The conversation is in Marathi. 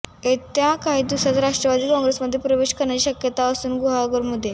ते येत्या काही दिवसांत राष्ट्रवादी कॉंग्रेसमध्ये प्रवेश करण्याची शक्यता असून गुहागरमधून